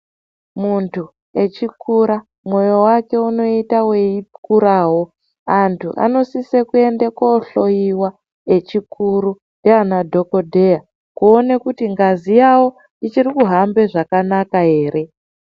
Muntu echikura mwoyo wake unoita weikurawo. Antu anosise kuende kohloiwa echikuru ndiana dhokodheya kuone kuti ngazi yawo ichiri kuhambe zvakanaka ere.